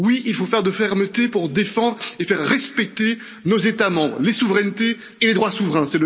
Oui, il faut faire preuve de fermeté pour défendre et faire respecter nos États membres, les souverainetés et les droits souverains!